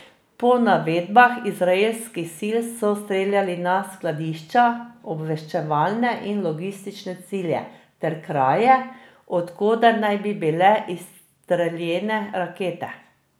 Po navedbah izraelskih sil so streljali na skladišča, obveščevalne in logistične cilje ter kraje, od koder naj bi bile izstreljene rakete.